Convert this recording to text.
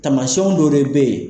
Tamasiɲɛnw dɔwɛrɛ be yen